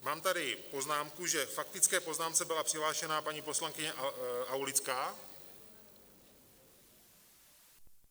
Mám tady poznámku, že k faktické poznámce byla přihlášena paní poslankyně Aulická?